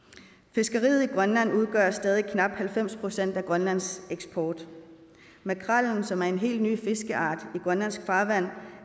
fiskeriet i grønland udgør stadig knap halvfems procent af grønlands eksport makrellen som er en helt ny fiskeart i grønlandsk farvand